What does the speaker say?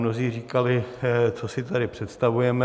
Mnozí říkali, co si tady představujeme.